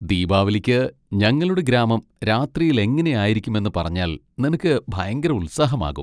ദീപാവലിക്ക് ഞങ്ങളുടെ ഗ്രാമം രാത്രിയിൽ എങ്ങനെയായിരുക്കുമെന്ന് പറഞ്ഞാൽ നിനക്ക് ഭയങ്കര ഉത്സാഹമാകും.